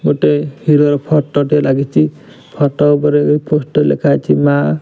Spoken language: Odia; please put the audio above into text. ଏଠି ଗୋଟେ ହିରୋ ର ଫଟୋ ଟେ ଲାଗିଚି ଫଟୋ ଉପରେ ଲେଖାହେଇଚି ମାଁ।